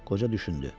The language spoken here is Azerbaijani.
Qoca düşündü.